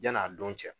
Yan'a don cɛ